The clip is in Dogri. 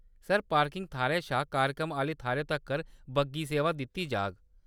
सर, पार्किंग थाह्‌‌‌रै शा कार्यक्रम आह्‌ले थाह्‌‌‌रै तक्कर बग्गी सेवा दित्ती जाह्‌‌ग।